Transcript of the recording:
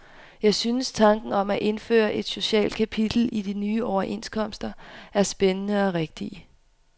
Jeg synes, tanken om at indføre et socialt kapitel i de nye overenskomster er spændende og rigtig.